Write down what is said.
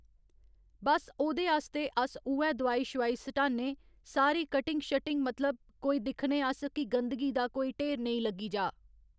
बस ओह्दे आस्तै अस उऐ दोआई शवाई सटा'ने सारी कटिंग शटिंग मतलब कोई दिक्खने अस कि गंदगी दा कोई ढेर नेईं लग्गी जा।